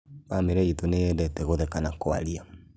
Bamĩrĩ itũ nĩyendete gũtheka na kũaria